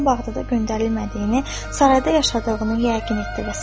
Dirşadın Bağdada göndərilmədiyini, Sarayda yaşadığını yəqin etdi